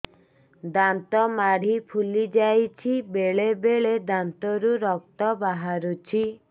ଦାନ୍ତ ମାଢ଼ି ଫୁଲି ଯାଉଛି ବେଳେବେଳେ ଦାନ୍ତରୁ ରକ୍ତ ବାହାରୁଛି